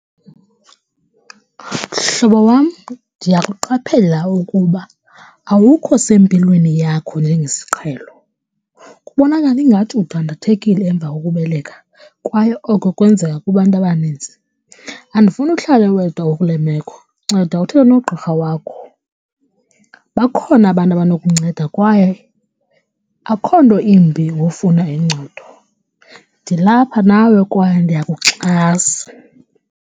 Mhlobo wam, ndiyakuqaphela ukuba awukho sempilweni yakho njengesiqhelo, kubonakala ingathi udandathekile emva kokubeleka kwaye oko kwenzeka kubantu abanintsi. Andifuni uhlale wedwa ukule meko, nceda uthethe nogqirha wakho. Bakhona abantu abanokunceda kwaye akho nto imbi ngofuna uncedo. Ndilapha nawe kwaye ndiyakuxhasa.